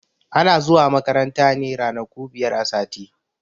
Ana zuwa makaranta ne ranaku biyar a sati.